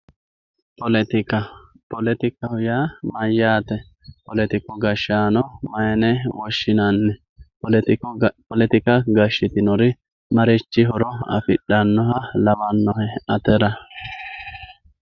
Pollettikka, oollettikkaho yaa mayatte, pollettikku gadhano mayine woshinanni, pollettikka gashitinori marichi horo affidhanoha lawannohe attera